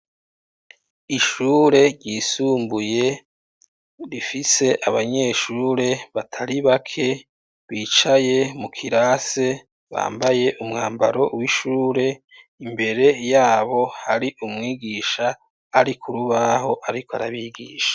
Ishure ryisumbuye, rifise abanyeshure batari bake, bicaye mu kirase, bambaye umwambaro w'ishure; imbere y'abo hari umwigisha, ari ku rubaho, ariko arabigisha.